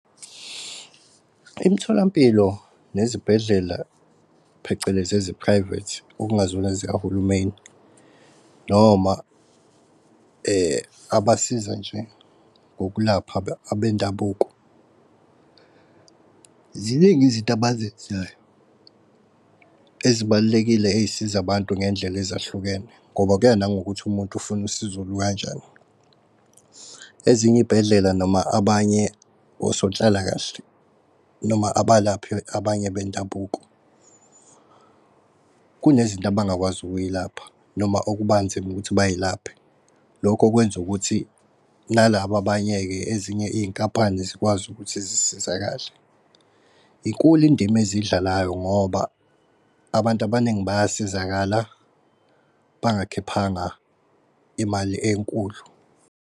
Imitholampilo nezibhedlela phecelezi ezi-private okungazona ezikahulumeni noma abasiza nje ngokulapha abendabuko. Ziningi izinto abazenzayo ezibalulekile ezisiza abantu ngendlela ezahlukene ngoba kuya nangokuthi umuntu ufuna isizo olukanjani. Ezinye iy'bhedlela noma abanye usonhlalakahle noma abalaphi abanye bendabuko. Kunezinto abangakwazi ukuy'lapha noma okuba nzima ukuthi bay'laphe lokho kwenza ukuthi nalaba abanye-ke. Ezinye iy'nkapani zikwazi ukuthi zisizakale inkulu indima ezidlalayo ngoba abantu abaningi bayasizakala. Bangakhiphanga imali enkulu.